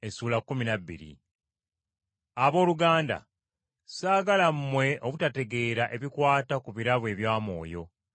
Abooluganda, ssaagala mmwe obutategeera ebikwata ku birabo ebya Mwoyo.